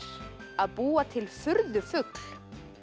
að búa til furðufugl